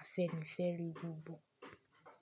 afẹ́nifere gbogbo.